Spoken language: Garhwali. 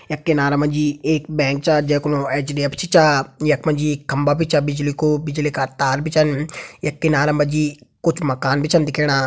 यक किनारा मजी एक बैंक छा जै कु नो एच_डी _एफ_सी छा। यक मजी खंबा बि छा बिजली कु बिजली का तार बि छन। यक किनारा मजी कुछ मकान बि छन दिखेणा।